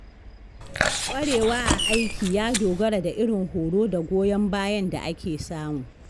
ƙwarewa a aiki ya dogara da irin horo da goyon bayan da ake samu.